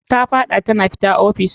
Ta fad'a tana fita office.